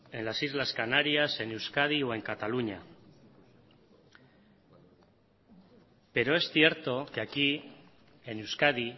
en las islas canarias en euskadi o en cataluña pero es cierto que aquí en euskadi